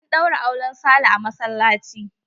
An ɗaura auren Sale a masallaci.